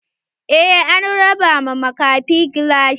Eh an raba ma makafin gilashi.